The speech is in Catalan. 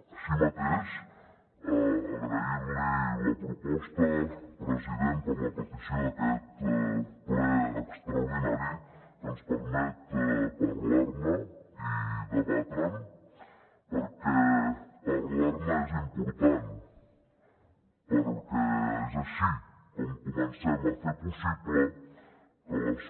així mateix agrair li la proposta president per la petició d’aquest ple extraordinari que ens permet parlar ne i debatre’n perquè parlar ne és important perquè és així com comencem a fer possible que les